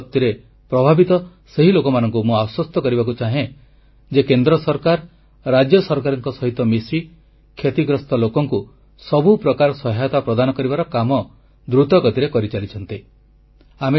ବନ୍ୟା ବିପତ୍ତିରେ ପ୍ରଭାବିତ ସେହି ଲୋକମାନଙ୍କୁ ମୁଁ ଆଶ୍ୱସ୍ତ କରିବାକୁ ଚାହେଁ ଯେ କେନ୍ଦ୍ର ସରକାର ରାଜ୍ୟ ସରକାରଙ୍କ ସହିତ ମିଶି କ୍ଷତିଗ୍ରସ୍ତ ଲୋକଙ୍କୁ ସବୁ ପ୍ରକାର ସହାୟତା ପ୍ରଦାନ କରିବାର କାମ ଦ୍ରୁତଗତିରେ କରିଚାଲିଛନ୍ତି